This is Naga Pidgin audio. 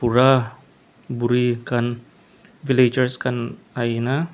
bura buri khan villagers khan Aina.